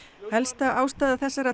helsta ástæða þessara